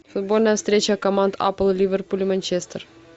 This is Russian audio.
футбольная встреча команд апл ливерпуль и манчестер